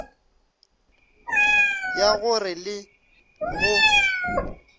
ya go re le go